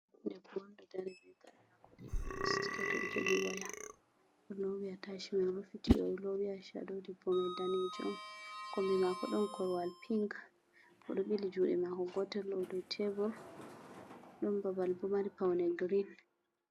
'Debbo danejo, o d'o dari jogi waya be limse mako yelo. O d'o wati aishado be o rufiti atashimin dow hore mako; kombi mako don korwal piin. O d'o 'bili jude mako gotel dow tebor; d'en babal maibo mari paune girin.